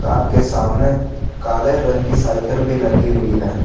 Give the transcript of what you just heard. Car के सामने काले रंग की साइकल भी लगी हुई है।